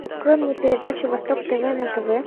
открой мне передачу восток тв на тв